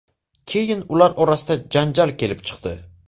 Keyin ular orasida janjal kelib chiqdi.